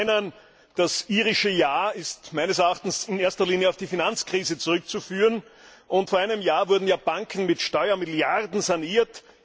Zum Ersten Das irische Ja ist meines Erachtens in erster Linie auf die Finanzkrise zurückzuführen, und vor einem Jahr wurden ja Banken mit Steuermitteln saniert.